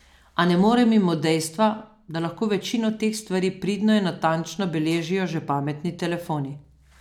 A ne morem mimo dejstva, da lahko večino teh stvari pridno in natančno beležijo že pametni telefoni.